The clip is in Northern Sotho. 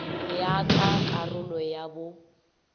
ya ka karolo ya bo